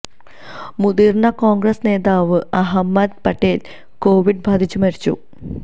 മുതിർന്ന കോണ്ഗ്രസ് നേതാവ് അഹമ്മദ് പട്ടേല് കോവിഡ് ബാധിച്ച് മരിച്ചു